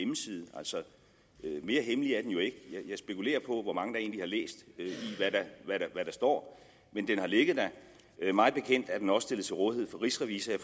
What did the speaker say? altså mere hemmelig er den jo ikke jeg spekulerer på hvor mange der egentlig har læst hvad der står men den har ligget der mig bekendt er den også stillet til rådighed for rigsrevisor og